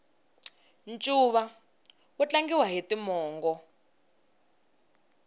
ncuva wu tlangiwa hi timongo